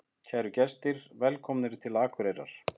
Kæru gestir! Velkomnir til Akureyrar.